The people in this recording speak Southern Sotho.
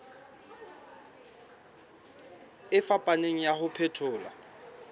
e fapaneng ya ho phethola